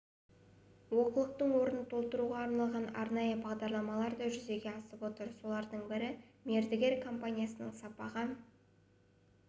олқылықтың орнын толтыруға арналған арнайы бағдарламалар да жүзеге асып отыр солардың бірі мердігер компанияның сапаға